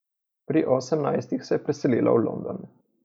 Pri osemnajstih se je preselila v London.